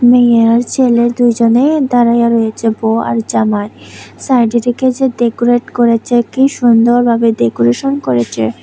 মেইয়ে আর ছেলে দুজনেই দাঁড়াইয়া রয়েছে ব আর জামাই সাইডের যে কে যে ডেকোরেট করেছে কি সুন্দর ভাবে ডেকোরেশন করেছে।